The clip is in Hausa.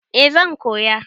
Eh zan koya.